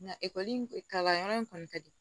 Nka ekɔli kalanyɔrɔ in kɔni ka di